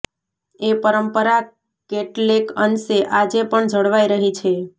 એ પરંપરા કેટલેક અંશે આજે પણ જળવાઇ રહી છે